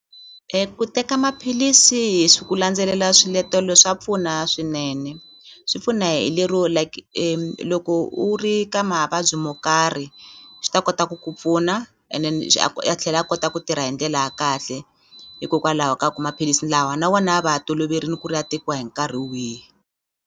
Ku teka maphilisi hi ku landzelela swiletelo swa pfuna swinene swi pfuna hi lero like loko u ri ka mavabyi mo karhi swi ta kota ku ku pfuna and then ya tlhela a kota ku tirha hi ndlela ya kahle hikokwalaho ka ku maphilisi lawa na wona ya va ya toloverini ku ri ya tekiwa hi nkarhi wihi.